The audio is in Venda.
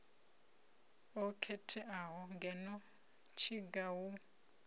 o khetheaho ngeno tshiga hu